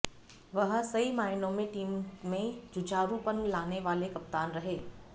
वह सही मायनों में टीम में जुझारूपन लाने वाले कप्तान रहे